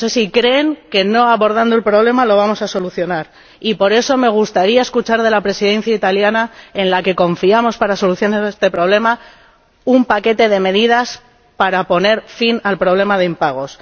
No sé si creen que no abordando el problema lo vamos a solucionar, y por eso me gustaría escuchar de la Presidencia italiana, en la que confiamos para solucionar este problema, la propuesta de un paquete de medidas para poner fin al problema de los impagos.